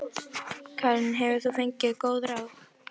Karen: Hefur þú fengið góð ráð?